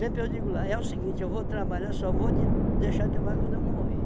eu digo lá, é o seguinte, eu vou trabalhar, só vou de deixar de trabalhar quando eu morrer.